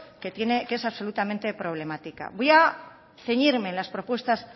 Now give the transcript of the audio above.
que es absolutamente problemática voy a ceñirme en las propuestas